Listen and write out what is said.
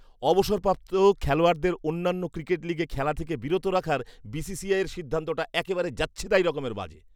অবসরপ্রাপ্ত খেলোয়াড়দের অন্যান্য ক্রিকেট লীগে খেলা থেকে বিরত রাখার বিসিসিআইয়ের সিদ্ধান্তটা একেবারে যাচ্ছেতাই রকমের বাজে।